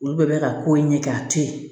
Olu bɛɛ bɛ ka ko in ɲɛ kɛ a tɛ ye